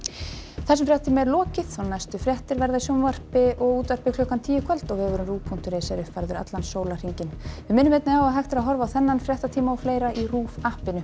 þessum fréttatíma er lokið næstu fréttir verða í sjónvarpi og útvarpi klukkan tíu í kvöld og vefurinn rúv punktur is er uppfærður allan sólarhringinn við minnum einnig á að hægt að horfa á þennan fréttatíma í RÚV appinu